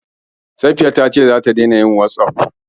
Safiya ta ce za ta daina yin wossof.